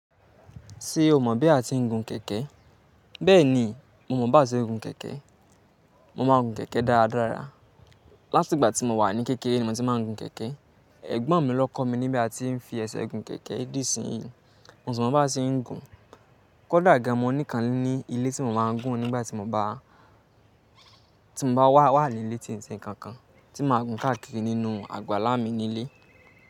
Ṣé o mọ̀ bí a ti ń gun kẹkẹ? Bẹ́ẹ̀ni, mo mọ bá ń ṣe gùn kẹkẹ Mo máa ń gun kẹkẹ dáradára. Láti ìgbà tí mo wà ní kékeré ni mo ti máa ń gùn kẹkẹ. Ẹ̀gbọ́n mi ló kọ́ mi ní bí a ti ń fi ẹsẹ gùn kẹkẹ dí isìnyi. Mo sì mọ bá ṣe ń gùn. Kódà gan mo ní ìkàn nì ilé tí mo máa ń gún nígbà tí mo bá, tí mo bá wà nílé ti ń ṣe nkan kan tí máa gùn káàkiri nínú àgbàlá mi nílé.